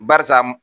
Barisa